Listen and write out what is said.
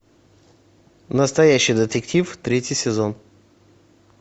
настоящий детектив третий сезон